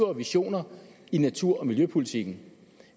og visioner i natur og miljøpolitikken